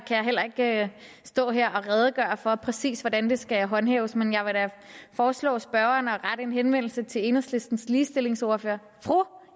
heller ikke stå her og redegøre for præcis hvordan det skal håndhæves men jeg vil da foreslå spørgeren at rette en henvendelse til enhedslistens ligestillingsordfører fru